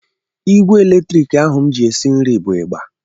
Igwe latrik ahụ m ji esi nri bụ ịgba